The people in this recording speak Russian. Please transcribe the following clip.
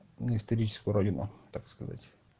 историческую родину так сказать